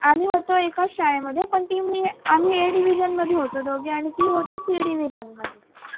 आम्ही होतो एकाच शाळेमध्ये पण ती मी आम्ही A division मध्ये होतो दोघे आणि ती होती ती C division मध्ये